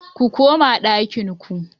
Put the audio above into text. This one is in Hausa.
Ku koma ɗakin ku